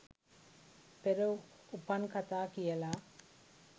පෙර උපන් කථා කියලා.